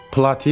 Platin?